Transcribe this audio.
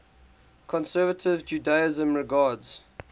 conservative judaism regards